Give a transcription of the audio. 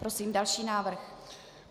Prosím další návrh.